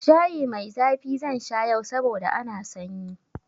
Shayi mai zafi zan sha yau saboda ana sanyi.